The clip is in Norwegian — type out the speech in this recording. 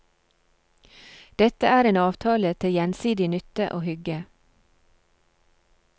Dette er en avtale til gjensidig nytte og hygge.